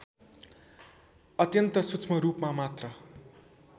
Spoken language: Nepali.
अत्यन्त सूक्ष्मरूपमा मात्र